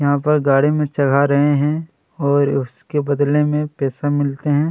यहाँ पे गाड़ी में चढ़ा रहे है और उसके बदले में पैसा मिलते है।